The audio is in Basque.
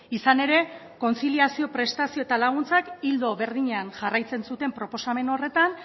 izan ere kontziliazio prestazio eta laguntzak ildo berdinean jarraitzen zuten proposamen horretan